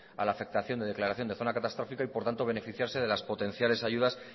a la afectación de declaración de zona catastrófica y por tanto beneficiarse de las potenciales ayudas